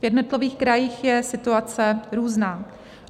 V jednotlivých krajích je situace různá.